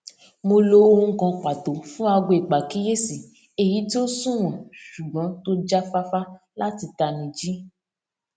mo lo ohùn kan pàtó fún aago ìpàkíyèsí èyí tí ó sunwọn ṣùgbọn tó jáfáfá láti tanijí